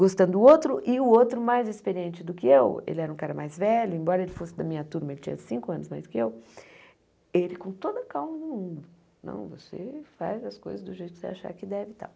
Gostando do outro e o outro mais experiente do que eu, ele era um cara mais velho, embora ele fosse da minha turma, ele tinha cinco anos mais que eu, ele com toda calma do mundo, não, você faz as coisas do jeito que você achar que deve e tal.